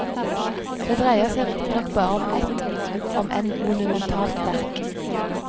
Det dreier seg riktignok bare om ett, om enn monumentalt, verk.